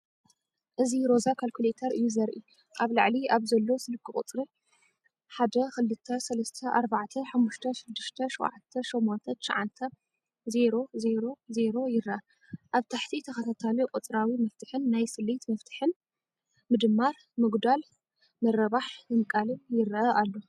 እዚ ሮዛ ካልኩሌተር እዩ ዘርኢ። ኣብ ላዕሊ ኣብ ዘሎ ስክሪን ቁጽሪ 123456789000 ይርአ። ኣብ ታሕቲ ተኸታታሊ ቁጽራዊ መፍትሕን ናይ ስሌት መፍትሕን (+,-,×,÷) ይርአ ኣሎ።